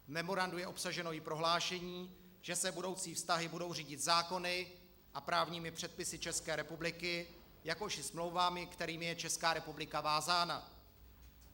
V memorandu je obsaženo i prohlášení, že se budoucí vztahy budou řídit zákony a právními předpisy České republiky, jakož i smlouvami, kterými je Česká republika vázána.